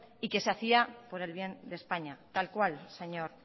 y que se hacía por el bien de españa tal cual señor